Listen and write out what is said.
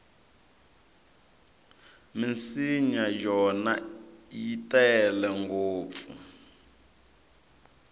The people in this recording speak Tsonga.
minsinya yona i tele ngopfu